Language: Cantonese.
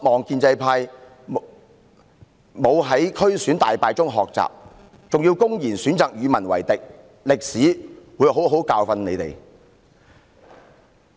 建制派議員沒有從區議會選舉大敗中汲取教訓，還選擇公然與民為敵，歷史會好好教訓他們的。